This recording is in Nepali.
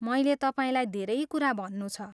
मैले तपाईँलाई धेरै कुरा भन्नु छ।